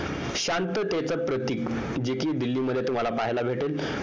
शांततेचं प्रतीक जे कि दिल्लीमध्ये तुम्हाला पाहायला भेटेल